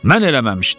Mən eləməmişdim.